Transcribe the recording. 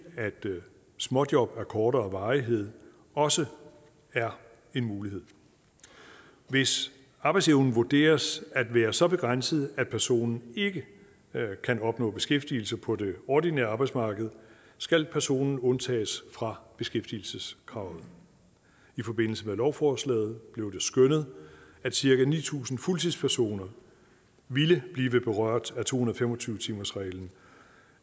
at småjob af kortere varighed også er en mulighed hvis arbejdsevnen vurderes at være så begrænset at personen ikke kan opnå beskæftigelse på det ordinære arbejdsmarked skal personen undtages fra beskæftigelseskravet i forbindelse med lovforslaget blev det skønnet at cirka ni tusind fuldtidspersoner ville blive berørt af to hundrede og fem og tyve timersreglen